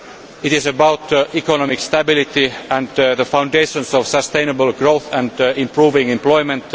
method it is about economic stability, the foundations of sustainable growth and improving employment